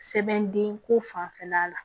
Sɛbɛn den ko fanfɛla la